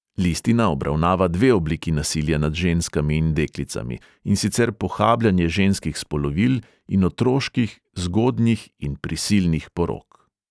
Listina obravnava dve obliki nasilja nad ženskami in deklicami, in sicer pohabljanje ženskih spolovil in otroških, zgodnjih in prisilnih porok.